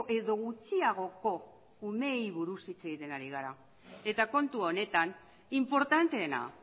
edo gutxiagoko umeei buruz hitz egiten ari gara eta kontu honetan inportanteena